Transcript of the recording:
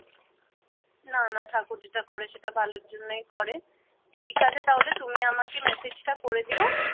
না না ঠাকুর যেটা করে সেটা ভালোর জন্যই করে ঠিক আছে তাহলে তুমি আমাকে মেসেজটা করে দিও।